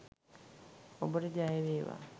ඔබට ජය වේවා!